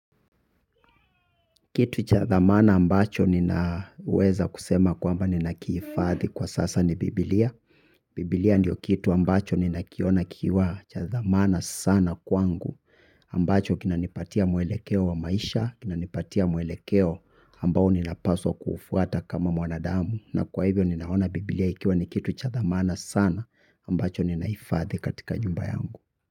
Kitu cha thamana ambacho ninaweza kusema kwamba ninakihifadhi kwa sasa ni biblia. Biblia ndio kitu ambacho ninakiona kiwa cha dhamana sana kwangu. Ambacho kinanipatia mwelekeo wa maisha, kinanipatia mwelekeo ambao ninapaswa kuufuata kama mwanadamu. Na kwa hivyo ninaona Biblia ikiwa ni kitu cha dhamana sana ambacho ninahifadhi katika nyumba yangu.